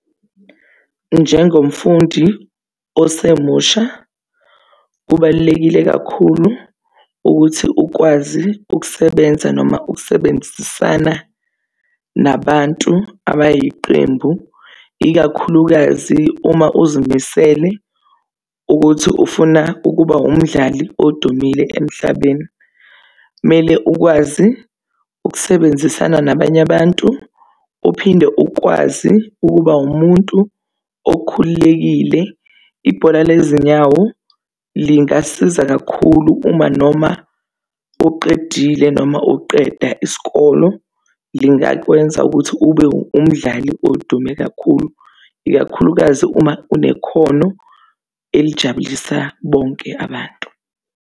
Njengomfundi osemusha, kubalulekile kakhulu ukuthi ukwazi ukusebenza noma ukusebenzisana nabantu abayiqembu, ikakhulukazi uma uzimisele ukuthi ufuna ukuba umdlali odumile emhlabeni. Kumele ukwazi ukusebenzisana nabanye abantu, uphinde ukwazi ukuba umuntu okhululekile. Ibhola lezinyawo lingasiza kakhulu uma noma uqedile noma uqeda isikolo. Lingakwenza ukuthi ube umdlali odume kakhulu, ikakhulukazi uma unekhono elijabulisa bonke abantu.